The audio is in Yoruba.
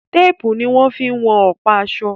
Tépùù ní wọ́n fí ń wọn ọ̀pa aṣọ.